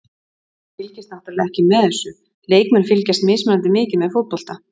Hann fylgist náttúrulega ekki með þessu, leikmenn fylgjast mismunandi mikið með fótbolta.